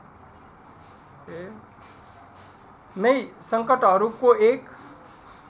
नै सङ्कटहरूको एक